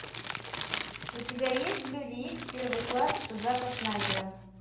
у тебя есть люди икс первый класс зака снайдера